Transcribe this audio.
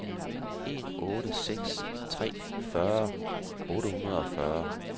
en otte seks tre fyrre otte hundrede og fyrre